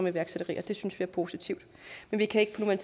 iværksætteri synes vi er positivt men vi kan